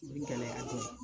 O bi gɛlɛya dɛ